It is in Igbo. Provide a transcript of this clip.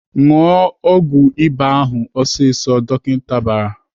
"Ṅụọ ọgwụ ịba ahụ ọsịsọ!" Dọkịta bara.